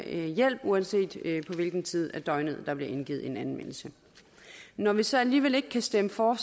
hjælp uanset på hvilken tid af døgnet der bliver indgivet en anmeldelse når vi så alligevel ikke kan stemme for